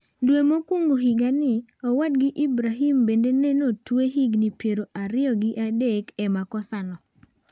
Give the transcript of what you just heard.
Dwe mokuongo higani , owadgi Ibrahim bende ne notwe higini piero ariyo gi adek e makosano.